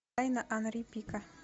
тайна анри пика